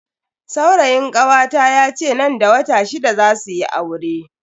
Saurayin kawata yace nan da wata shida zasu yi aure.